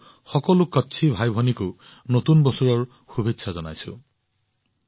মই মোৰ সকলো কচ্ছী ভাইভনীক নৱবৰ্ষৰ শুভেচ্ছা জনাইছো